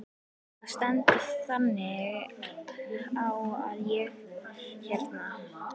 Það stendur þannig á að ég hérna.